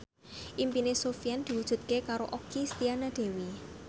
impine Sofyan diwujudke karo Okky Setiana Dewi